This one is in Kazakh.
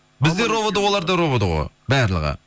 біздер ровд олар да ровд ғой барлығы